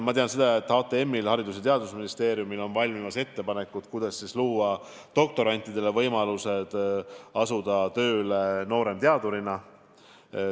Ma tean seda, et Haridus- ja Teadusministeeriumil on valmimas ettepanekud, kuidas luua doktorantidele võimalused asuda tööle nooremteadurina.